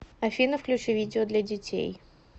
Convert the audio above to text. афина включи видео для детей